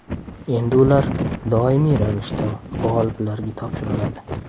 Endi ular doimiy ravishda g‘oliblarga topshiriladi.